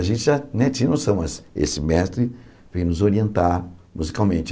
A gente já né tinha noção, mas esse mestre veio nos orientar musicalmente.